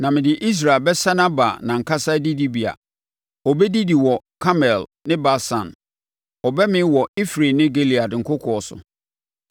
Na mede Israel bɛsane aba nʼankasa adidibea. Ɔbɛdidi wɔ Karmel ne Basan; ɔbɛmee wɔ Efraim ne Gilead nkokoɔ so.